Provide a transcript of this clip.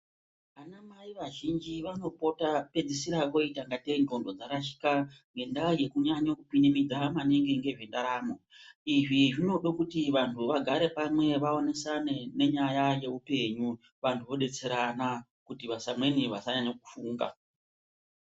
Vana mai vazhinjj vanopota pedzisira voita kunge ngondo dzarashika ngendaa yekunyanye kupinimidza maningi ngezve ndaramo, izvi zvinoda kuti vanhu vagare pamwe vaonesane nenyaya yeupenyu vanhu, vodetserana kuti vamweni vasanyanye kufunda.